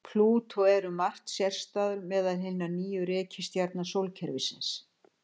Plútó er um margt sérstæður meðal hinna níu reikistjarna sólkerfisins.